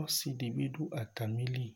Ɔsi si bi du atamìli